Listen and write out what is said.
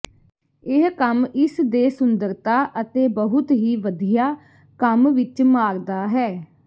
ਇਹ ਕੰਮ ਇਸ ਦੇ ਸੁੰਦਰਤਾ ਅਤੇ ਬਹੁਤ ਹੀ ਵਧੀਆ ਕੰਮ ਵਿਚ ਮਾਰਦਾ ਹੈ